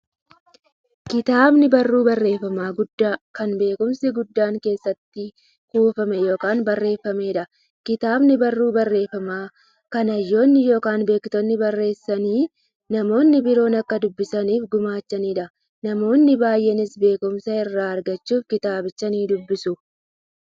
Kitaabni barruu barreeffamaa guddaa, kan beekumsi guddaan keessatti kuufame yookiin barreefameedha. Kitaabni barruu barreeffamaa, kan hayyoonni yookiin beektonni barreessanii, namni biroo akka dubbisaniif gumaachaniidha. Namoonni baay'eenis beekumsa irraa argachuuf kitaabicha nidubbisu.